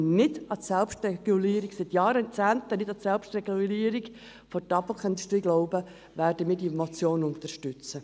Da wir auch wie seit Jahrzehnten nicht an die Selbstregulierung der Tabakindustrie glauben, werden wir diese Motion unterstützen.